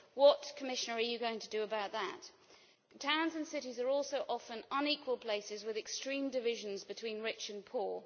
What, Commissioner, are you going to do about that? Towns and cities are also often unequal places with extreme divisions between rich and poor.